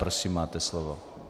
Prosím, máte slovo.